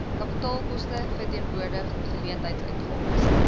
kapitaalkoste verteenwoordig geleentheidsuitgawes